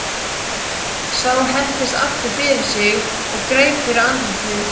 Sá hentist aftur fyrir sig og greip fyrir andlitið.